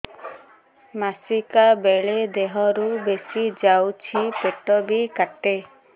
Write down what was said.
ମାସିକା ବେଳେ ଦିହରୁ ବେଶି ଯାଉଛି ପେଟ ବି କାଟେ